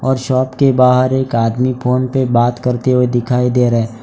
और शॉप के बाहर एक आदमी फोन पे बात करते हुए दिखाई दे रहा है।